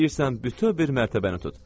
İstəyirsən bütöv bir mərtəbəni tut.